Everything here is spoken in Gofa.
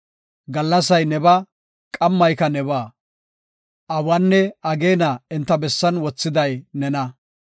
Gallasay nebaa; qammayka nebaa; awanne ageena enta bessan wothiday nena.